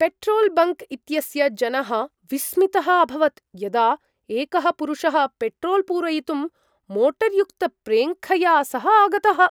Petrol bunk इत्यस्य जनः विस्मितः अभवत् यदा एकः पुरुषः पेट्रोल्पूरयितुं मोटर्युक्तप्रेङ्खया सह आगतः।